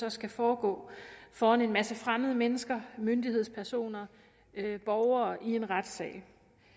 så skal foregå foran en masse fremmede mennesker myndighedspersoner og borgere i en retssal